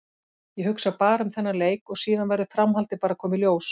Ég hugsa bara um þennan leik og síðan verður framhaldið bara að koma í ljós.